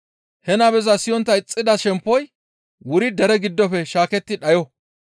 He nabeza siyontta ixxida shemppoy wuri dere giddofe shaaketti dhayo.›